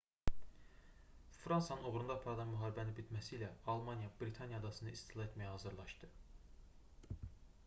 fransanın uğrunda aparılan müharibənin bitməsilə almaniya britaniya adasını istila etməyə hazırlaşdı